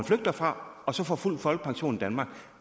flygter fra og så får fuld folkepension i danmark